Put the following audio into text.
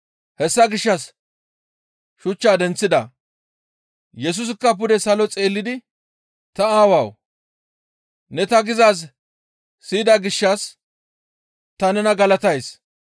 Hessa gishshas shuchchaa denththida; Yesusikka pude salo xeellidi, «Ta Aawawu! Ne ta gizaaz siyida gishshas ta nena galatays.